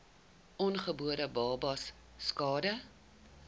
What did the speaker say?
ongebore babas skade